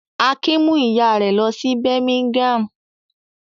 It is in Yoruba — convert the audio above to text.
Akin mú ìyá rẹ̀ lọ sí Birmingham?